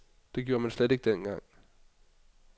Det gjorde man slet ikke dengang.